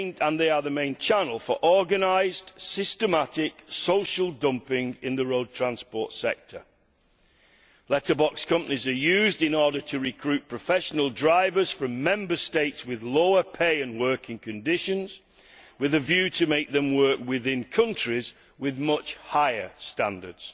They are the main channel for organised, systematic social dumping in the road transport sector. Letterbox companies are used in order to recruit professional drivers from Member States with lower pay and working conditions, with a view to making them work within countries with much higher standards.